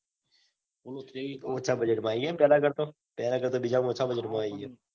ઓલું ટ્રેવી ઓછા budget માં આઈ ગયો. એમ પેલા કરતા પેલા કરતા તો બીજા માં ઓછા budget માં આઈ ગયો.